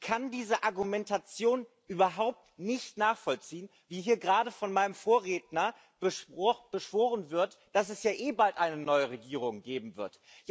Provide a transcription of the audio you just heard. Ich kann diese Argumentation überhaupt nicht nachvollziehen, die hier gerade von meinem Vorredner beschworen wird, dass es ja eh bald eine neue Regierung geben wird.